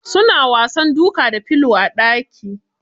Suna wasan duka da filo a ɗaki.